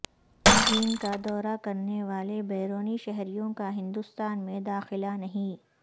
چین کا دورہ کرنے والے بیرونی شہریوں کا ہندوستان میں داخلہ نہیں